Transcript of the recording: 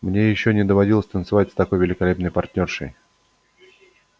мне ещё не доводилось танцевать с такой великолепной партнёршей